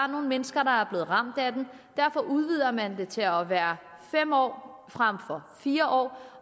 nogle mennesker der er blevet ramt af den derfor udvider man det til at være fem år frem for fire år